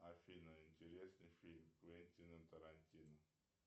афина интересный фильм квентина тарантино